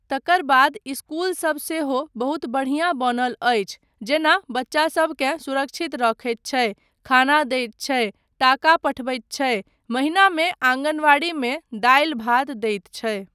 तकर बाद इस्कूल सब सेहो बहुत बढ़िऑं बनल अच्छी जेना बच्चासबकेँ सुरक्षित रखैत छै , खाना दैत छै, टाका पठबैत छै, महिनामे आङ्गनबाड़ीमे दालि भात दैत छै।